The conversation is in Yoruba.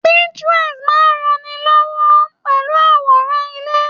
Pinterest máa n rán ni lọwọ pẹlú aworan ilé.